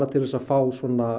til að fá